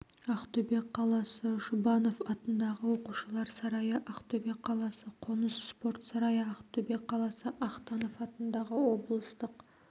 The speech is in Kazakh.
ақтөбе қаласы жұбанов атындағы оқушылар сарайы ақтөбе қаласы қоныс спорт сарайы ақтөбе қаласы ахтанов атындағы облыстық